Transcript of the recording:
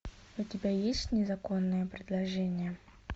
у тебя есть незаконное предложение